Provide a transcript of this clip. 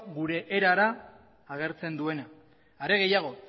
gure erara agertzen duena are gehiago